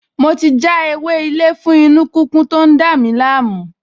Mo ti já ewé-ilé fún inú-kíkún tó ń dààmú mi